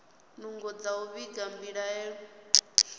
nungo dza u vhiga mbilaelo